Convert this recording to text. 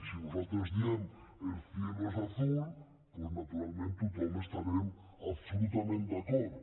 si nosaltres diem el cielo es azul doncs naturalment tothom hi estarem absolutament d’acord